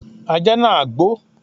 Ajá náà gbó.